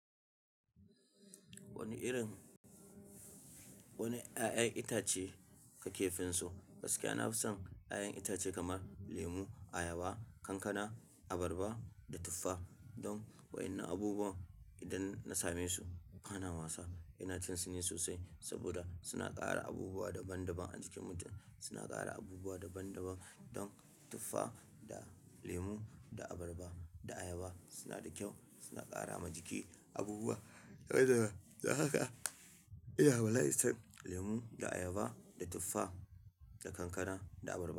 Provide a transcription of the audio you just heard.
Wani irin, wani ƴaƴan itace kake sonsu, gaskiya nafi son ƴanƴan itace kamar lemu, ayaba, kankana, abarba da tufa. Don wa'innan abubuwa idan na same su bana wasa. Ina cin su ne sosai saboda suna ƙara abubuwa daban daban ajikin mutum. Suna ƙara abubuwa daban daban. Don tufa da lemu da abarba da ayaba suna da kyau. Suna ƙara ma jiki abubuwa. To haka, ina bala'in son lemu da ayaba da tufa da kankana da abarba.